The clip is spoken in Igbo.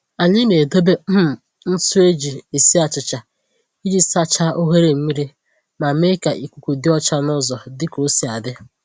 Anyị na-edobe um ntụ eji esi achịcha iji sachaa oghere mmiri ma mee ka ikuku dị ọcha n’ụzọ dị ka osi adị